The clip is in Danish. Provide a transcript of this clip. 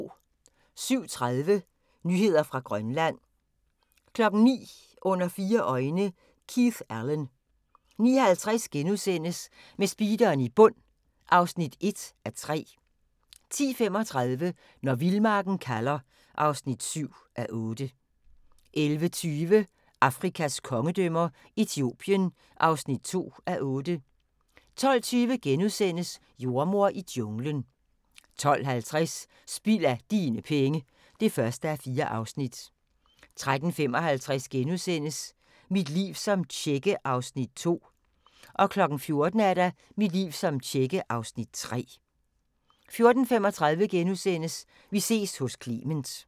07:30: Nyheder fra Grønland 09:00: Under fire øjne – Keith Allen 09:50: Med speederen i bund (1:3)* 10:35: Når vildmarken kalder (7:8) 11:20: Afrikas kongedømmer - Etiopien (2:8) 12:20: Jordemoder i junglen * 12:50: Spild af dine penge (1:4) 13:35: Mit liv som tjekke (Afs. 2)* 14:00: Mit liv som tjekke (Afs. 3) 14:35: Vi ses hos Clement *